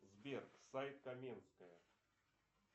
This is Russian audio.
сбер сайт каменская